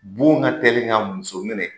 Bon ka teli ka muso minɛ